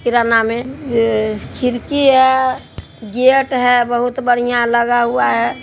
किराना में ये खिड़की है गेट है बहुत बढ़ियां लगा हुआ है |